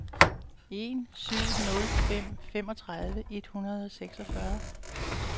en syv nul fem femogtredive et hundrede og seksogfyrre